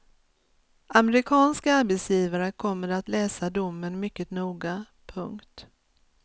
Amerikanska arbetsgivare kommer att läsa domen mycket noga. punkt